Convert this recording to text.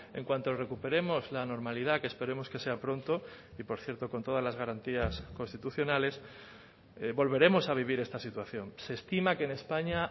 en cuanto recuperemos la normalidad que esperemos que sea pronto y por cierto con todas las garantías constitucionales volveremos a vivir esta situación se estima que en españa